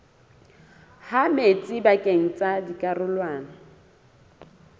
ha metsi pakeng tsa dikarolwana